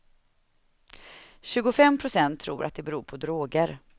Tjugofem procent tror att det beror på droger.